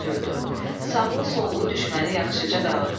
Sağlı-sollu düşməni yaxşıca dağıtdı.